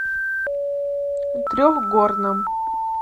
трехгорном